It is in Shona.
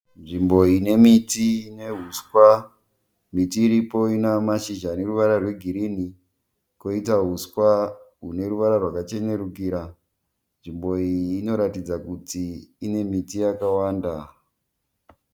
Nzvimbo ine miti neuswa, miti iripo ina mashizha neruvara rweghirini koita huswa rune ruvara rwakachenerukira, nzvimbo iyi inoratidza kuti ine miti yakawanda.